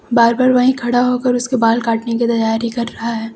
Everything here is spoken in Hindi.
बार्बर वही खड़ा होकर उसके बाल काटने की तैयारी कर रहा है।